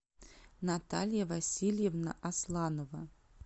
наталья васильевна асланова